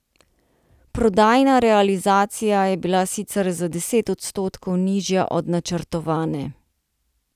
Prodajna realizacija je bila sicer za deset odstotkov nižja od načrtovane.